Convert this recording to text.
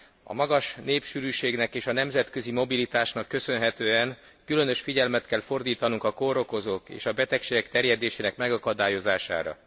A magas népsűrűségnek és a nemzetközi mobilitásnak köszönhetően különös figyelmet kell fordítanunk a kórokozók és a betegségek terjedésének megakadályozására.